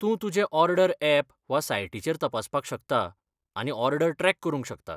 तूं तुजें order app वा सायटीचेर तपासपाक शकता आनी ऑर्डर ट्रॅक करूंक शकता.